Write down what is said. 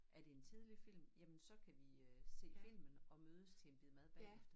Er det en tidlig film jamen så kan vi øh se filmen og mødes til en bid mad bagefter